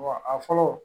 Wa a fɔlɔ